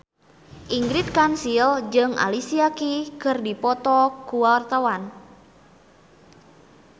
Ingrid Kansil jeung Alicia Keys keur dipoto ku wartawan